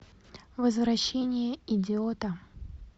возвращение идиота